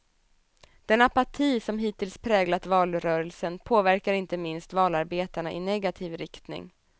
Den apati som hittills präglat valrörelsen påverkar inte minst valarbetarna i negativ riktning.